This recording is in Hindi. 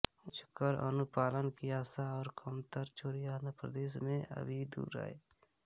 उच्च कर अनुपालन की आशा और कमतर चोरी आंध्र प्रदेश में अभी दूर है